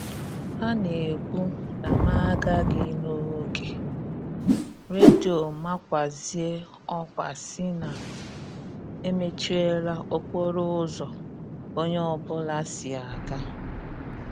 A na-ekwu na m a gaghị n'oge, redio makwazie ọkwa sị na emechiela okporo ụzọ onye ọ bụla si aga